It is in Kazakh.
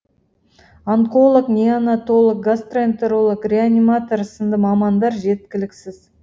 онколог неонатолог гастроэнтеролог реаниматор сынды мамандар жеткіліксіз